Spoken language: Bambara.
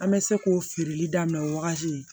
An bɛ se k'o feereli daminɛ o wagati